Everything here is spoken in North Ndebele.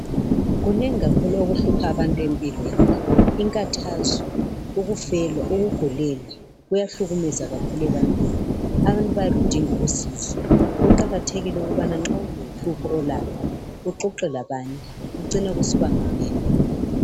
Kunengi kakhulu okuhlupha abantu empilweni, inkathazo, ukufelwa, ukugulelwa kuyahlukumeza kakhulu abantu. Abantu bayabe bedinga kakhulu usizo kuqakathekile ukubana nxa kulohlupho olalo uxoxe labanye kucine kusiba nganeno.